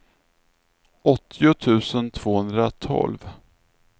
åttio tusen tvåhundratolv